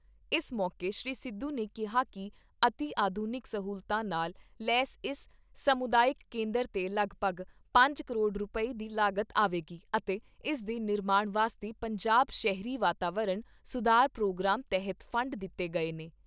ਇਸ ਮੌਕੇ ਸ੍ਰੀ ਸਿੱਧੂ ਨੇ ਕਿਹਾ ਕਿ ਅਤਿ ਆਧੁਨਿਕ ਸਹੂਲਤਾਂ ਨਾਲ ਲੈਸ ਇਸ ਸਮੁਦਾਇਕ ਕੇਂਦਰ 'ਤੇ ਲਗਭਗ ਪੰਜ ਕਰੋੜ ਰੁਪਏ ਦੀ ਲਾਗਤ ਆਵੇਗੀ ਅਤੇ ਇਸ ਦੇ ਨਿਰਮਾਣ ਵਾਸਤੇ ਪੰਜਾਬ ਸ਼ਹਿਰੀ ਵਾਤਾਵਰਣ ਸੁਧਾਰ ਪ੍ਰੋਗਰਾਮ ਤਹਿਤ ਫ਼ੰਡ ਦਿਤੇ ਗਏ ਨੇ।